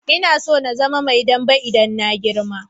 Ina so in zama Mai dambw idan na girma.